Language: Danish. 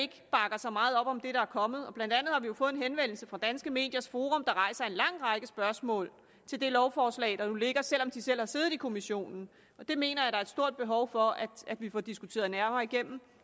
så meget op om det der er kommet blandt andet har vi jo fået en henvendelse fra danske mediers forum der rejser en lang række spørgsmål til det lovforslag der nu ligger selv om de selv har siddet i kommissionen det mener jeg er et stort behov for at vi får diskuteret nærmere igennem